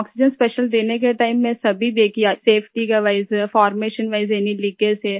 oxygen special देने के time में सभी देख किया सेफटी का wise formation wise any leakage है